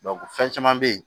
fɛn caman be yen